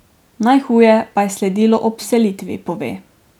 Najhuje pa je sledilo ob vselitvi, pove.